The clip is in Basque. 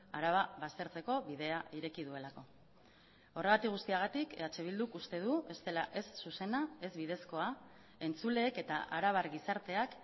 araba baztertzeko bidea ireki duelako horregatik guztiagatik eh bilduk uste du ez dela ez zuzena ez bidezkoa entzuleek eta arabar gizarteak